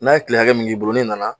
N'a ye tile hakɛ min k'i bolo n'i nana